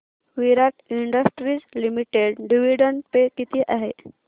विराट Industries Limited dividend पे किती आहे